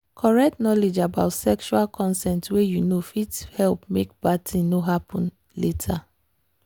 correct knowledge about sexual consent way you know fit help make bad thing no no happen later.